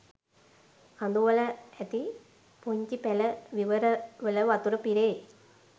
කඳුවල ඇති පුංචි පැල විවරවල වතුර පිරේ.